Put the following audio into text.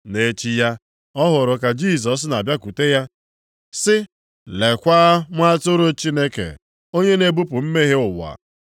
Nʼechi ya, ọ hụrụ ka Jisọs na-abịakwute ya sị, “Leekwa, Nwa Atụrụ Chineke, onye na-ebupụ mmehie ụwa.